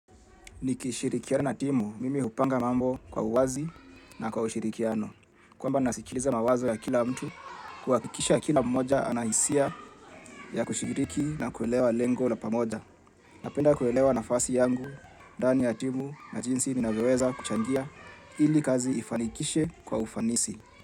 Nikishirikiana na timu, mimi hupanga mambo kwa uwazi na kwa ushirikiano. Kwamba nasikiliza mawazo ya kila mtu kuhakikisha kila mmoja ana hisia ya kushiriki na kuelewa lengo la pamoja. Napenda kuelewa nafasi yangu, ndani ya timu na jinsi ninavyoweza kuchangia ili kazi ifanikishwe kwa ufanisi.